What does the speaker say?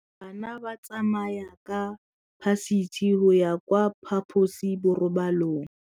Bana ba tsamaya ka phašitshe go ya kwa phaposiborobalong.